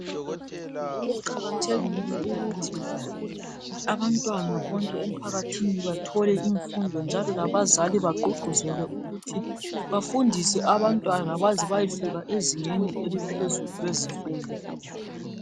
Kuqakathekile ukuthi abantwana bonke emphakathini bathole imfundo njalo labazali bagqugquzele abantwana ukuthi bafunde baze bayefika ezingeni eliphezulu lezifundo.